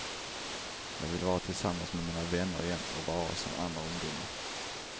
Jag vill vara tillsammans med mina vänner igen och vara som andra ungdomar.